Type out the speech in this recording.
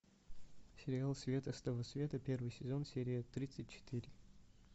сериал света с того света первый сезон серия тридцать четыре